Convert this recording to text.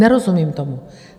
Nerozumím tomu.